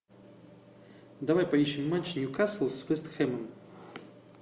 давай поищем матч ньюкасл с вест хэмом